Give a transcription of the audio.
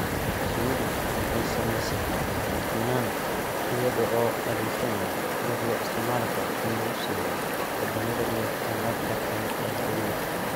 Shinnidu waxay samaysataa finan iyada oo adeegsanaysa dhux loo isticmaali karo in lagu sameeyo dabinada iyo agabka kale ee guriga.